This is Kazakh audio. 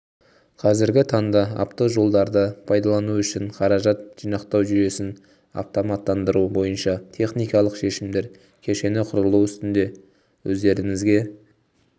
қазіргі таңда автожолдарды пайдалану үшін қаражат жинақтау жүйесін автоматтандыру бойынша техникалық шешімдер кешені құрылу үстінде өздеріңізге